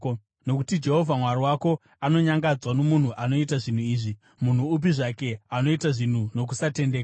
Nokuti Jehovha Mwari wako anonyangadzwa nomunhu anoita zvinhu izvi, munhu upi zvake, anoita zvinhu nokusatendeka.